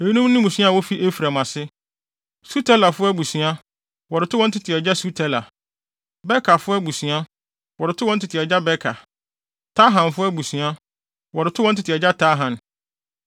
Eyinom ne mmusua a wofi Efraim ase: Sutelafo abusua, wɔde too wɔn tete agya Sutela; Bekerfo abusua, wɔde too wɔn tete agya Beker; Tahanfo abusua, wɔde too wɔn tete agya Tahan.